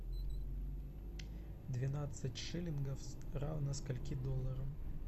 двенадцать шиллингов равно скольки долларам